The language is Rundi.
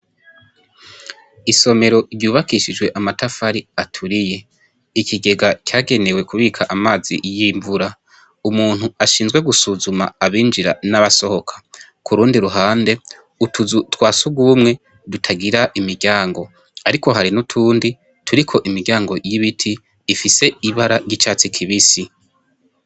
Isomero ryubakishijwe amatafari aturiye. Ikigega cagenewe kubika amazi y’imvura. Umuntu ashinzwe gusuzuma abinjira nabasohoka. Kurundi ruhande, utuzu twa sugumwe tutagira imiryango, ariko hari nutundi turiko imiryango y’ibiti ifise ibara ry’icatsi kibisi